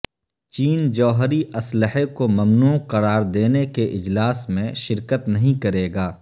چین جوہری اسلحے کو ممنوع قرار دینے کے اجلاس میں شرکت نہیں کرے گا